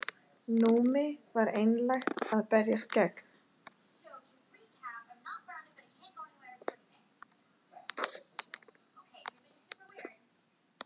Númi var einlægt að berjast gegn.